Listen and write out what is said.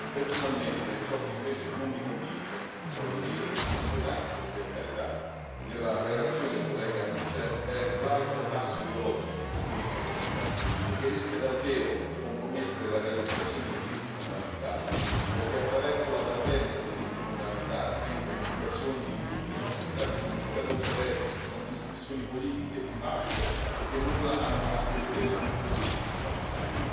Personalmente, ciò che invece non mi convince non voglio dire che sia inquietante, per carità della relazione del collega Michel è l'alto tasso ideologico di cui è infarcita e che rischia davvero di compromettere la realizzazione dei diritti fondamentali perché, attraverso la parvenza di diritti fondamentali, entra in situazioni che in tutti i nostri Stati sono ancora controverse, sono discussioni politiche di parte e che nulla hanno a che vedere con i diritti fondamentali.